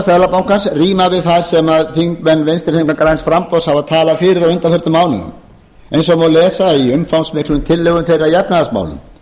seðlabankans rímar við það sem þingmenn vinstri hreyfingarinnar græns framboðs hafa talað fyrir á undanförnum mánuðum eins og lesa má í umfangsmiklum tillögum þeirra í efnahagsmálum